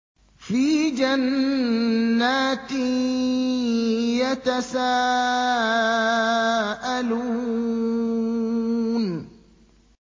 فِي جَنَّاتٍ يَتَسَاءَلُونَ